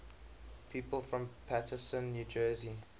people from paterson new jersey